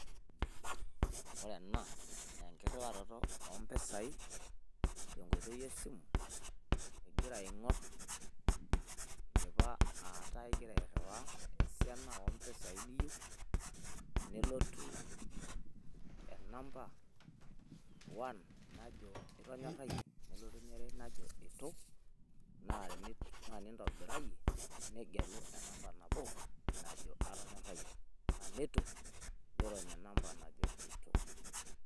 Ore ena naa enkirriwarroto oo mpisai te nkoitoi e simu igira aing`or idipa aa taa igira airriwaa esiana oo mpisai niyieu. Nelotu enamba one najo itonyorayie nelotu eniare najo itu. Naa tenintobirayie nigelu enamba nabo najo atonyorayie naa tenitu nirony enamba najo eitu.